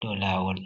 do lawol.